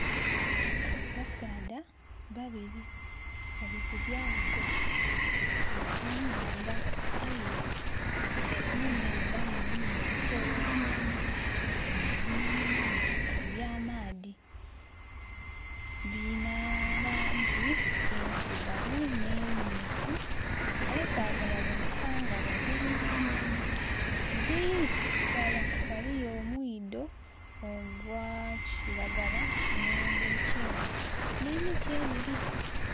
Abasaadha babiri bali ku lyato bali ku nandha aye mu nandha mulu ebisolo bino ebinenenene ebya maadhi, birina langi endhirugavu ne myufu abasadha baboneka nga bavubi. Eri ghala eriyo omwido gwakilagala ogwe kyenvu ne miti ebiri.